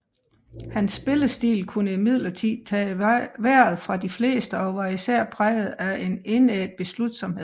Hans spillestil kunne imidlertid tage vejret fra de fleste og var især præget af en indædt beslutsomhed